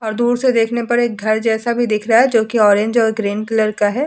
और दूर से देखने पर एक घर जैसा भी दिख रहा है जो कि ऑरेंज और ग्रीन कलर का है।